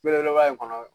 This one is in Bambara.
Belebeleba in kɔnɔ